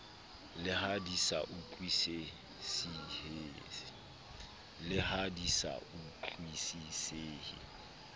le ha di sa utlwisisehe